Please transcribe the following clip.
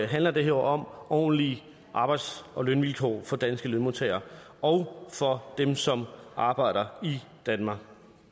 handler det her om ordentlige arbejds og lønvilkår for danske lønmodtagere og for dem som arbejder i danmark